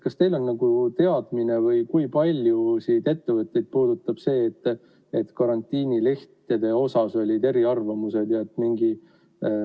Kas teil on olemas teadmine, kui paljusid ettevõtteid puudutab see, et karantiinilehtede osas olid eriarvamused?